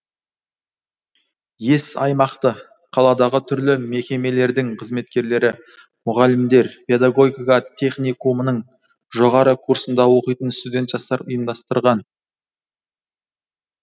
ес аймақты қаладағы түрлі мекемелердің қызметкерлері мұғалімдер педагогика техникумның жоғары курсында оқитын студент жастар ұйымдастырған